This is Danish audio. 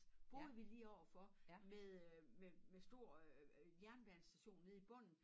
Boede vi lige overfor med øh med med stor øh jernbanestation nede i bunden